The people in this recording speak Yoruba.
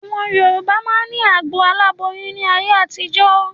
Àwọn Yorùbá máa ni agbo aláboyún ni ayé àtijọ́